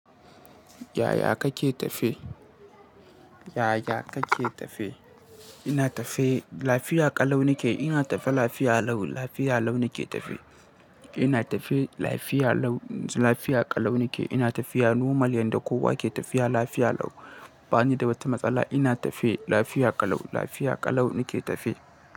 Yaya kake tafe? Yaya kake tafe? Ina tafe lafiya ƙalau ne ke. Ina tafe lafiya lau, lafiya lau ne ke tafe. Ina tafe lafiya lau, lafiya ƙalau ne ke. Ina tafiya normal yanda kowa ke tafiya lafiya lau. Ba ni da wata matsala. Ina tafe lafiya ƙalau, lafiya ƙalau ne ke tafe.